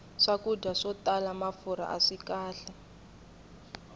swakudya swo tala mafurha aswi kahle